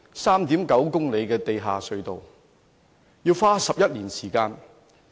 3.9 公里的地下隧道要花11年時間。